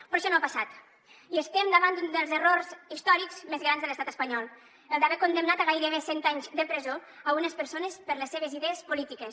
però això no ha passat i estem davant d’un dels errors històrics més grans de l’estat espanyol el d’haver condemnat a gairebé cent anys de presó unes persones per les seves idees polítiques